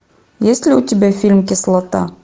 есть ли у тебя фильм кислота